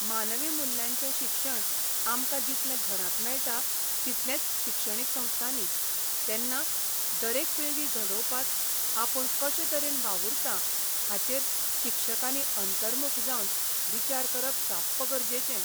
मानवी मुल्यांचें शिक्षण आमकां जितलें घरांत मेळटा तितलेंच शिक्षणीक संस्थांनी तेन्ना दर एक पिळगी घडोवपांत आपूण कशे तरेन वावूरतां शिक्षकांनी अंतर्मुख जावन विचार करप साप्प गरजेचें.